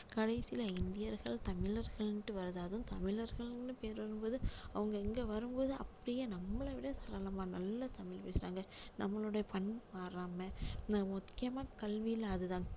கடைசியில இந்தியர்கள் தமிழர்கள்னு வருது அதுவும் தமிழர்கள்னு பெயர் வரும் போது அவங்க இங்க வரும் போது அப்படியே நம்மளை விட சரளமா நல்லா தமிழ் பேசுறாங்க நம்மளுடைய பண் மாறாம அஹ் முக்கியமா கல்வியில அதுதான்